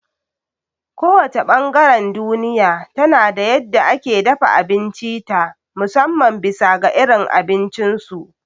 Ko wace ɓangaren duniya tana da yadda ake dafa abinci ta musamman bisa ga irin abincin su